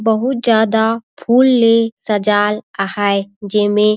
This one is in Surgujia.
बहुत ज्यादा फूल ले सजाये आहाये जे में--